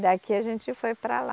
Daqui a gente foi para lá.